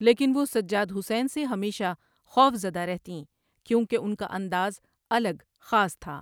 لیکن وہ سجاد حسین سے ہمیشہ خوف زدہ رہتیں کیونکہ ان کا انداز الگ خاص تھا۔